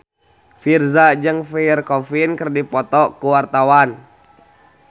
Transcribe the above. Virzha jeung Pierre Coffin keur dipoto ku wartawan